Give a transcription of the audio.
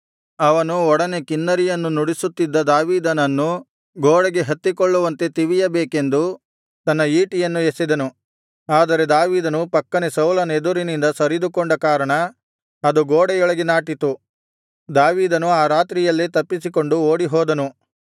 ಅವನು ಒಡನೆ ಕಿನ್ನರಿಯನ್ನು ನುಡಿಸುತ್ತಿದ್ದ ದಾವೀದನನ್ನು ಗೋಡೆಗೆ ಹತ್ತಿಕೊಳ್ಳುವಂತೆ ತಿವಿಯಬೇಕೆಂದು ತನ್ನ ಈಟಿಯನ್ನು ಎಸೆದನು ಆದರೆ ದಾವೀದನು ಪಕ್ಕನೆ ಸೌಲನೆದುರಿನಿಂದ ಸರಿದುಕೊಂಡ ಕಾರಣ ಅದು ಗೋಡೆಯೊಳಗೆ ನಾಟಿತು ದಾವೀದನು ಆ ರಾತ್ರಿಯಲ್ಲೇ ತಪ್ಪಿಸಿಕೊಂಡು ಓಡಿಹೋದನು